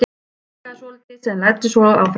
Hann hikaði svolítið en læddist svo fram.